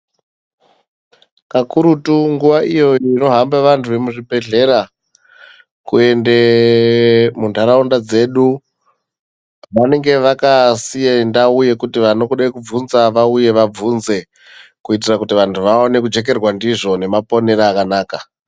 Kakurutu nguwa iyo inohamba vantu vemuzvibhedhlera kuende muntaraunda dzedu vanenge vakasiye ndau yekuti vanoda kubvunzwa vauye vabvunze kuitira kuti vantu vaone kujekerwa ndizvo nemaponere akanaka.